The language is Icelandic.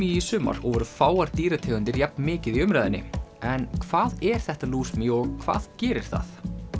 í sumar og voru fáar dýrategundir jafn mikið í umræðunni en hvað er þetta lúsmý og hvað gerir það